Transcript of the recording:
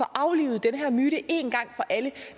aflivet den her myte en gang for alle